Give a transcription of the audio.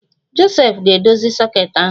Josef ga-edozi soket ahụ